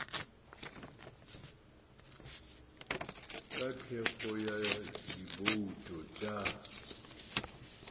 ka thekgo ya dibouto tša